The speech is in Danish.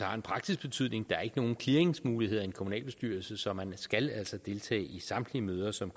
har en praktisk betydning der er ikke nogen clearingsmuligheder i en kommunalbestyrelse så man skal altså deltage i samtlige møder som